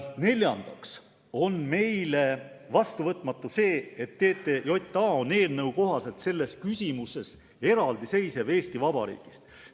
Neljandaks on meile vastuvõetamatu see, et TTJA on eelnõu kohaselt selles küsimuses Eesti Vabariigist eraldiseisev.